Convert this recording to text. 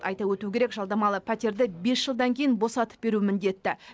айта өту керек жалдамалы пәтерді бес жылдан кейін босатып беру міндетті